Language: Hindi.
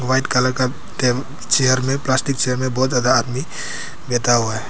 व्हाइट कलर का चेयर में प्लास्टिक चेयर में बहुत ज्यादा आदमी बैठा हुआ है।